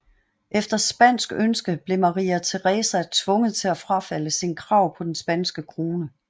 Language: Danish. Efter spansk ønske blev Maria Teresa tvunget til at frafalde sine krav på den spanske krone